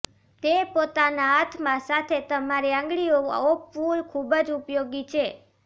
તે પોતાના હાથમાં સાથે તમારી આંગળીઓ ઓપવું ખૂબ જ ઉપયોગી છે